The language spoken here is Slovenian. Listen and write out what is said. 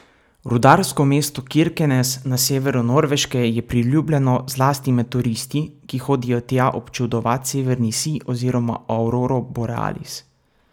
Rudarsko mesto Kirkenes na severu Norveške je priljubljeno zlasti med turisti, ki hodijo tja občudovat severni sij oziroma auroro borealis.